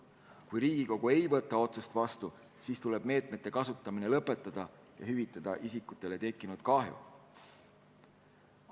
Kui Riigikogu ei võta otsust vastu, siis tuleb meetmete kasutamine lõpetada ja isikutele tekkinud kahju hüvitada.